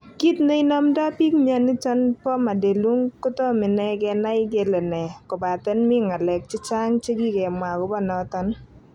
Kit ne inomdo pik mioni iton po Madelung kotom inei kenai kele ne, kopaten mi ngalek chechang che ki kemwa agopo noton